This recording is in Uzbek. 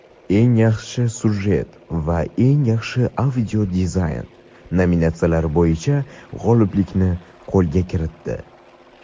"Eng yaxshi syujet" va "Eng yaxshi audio dizayn" nominatsiyalari bo‘yicha g‘oliblikni qo‘lga kiritdi.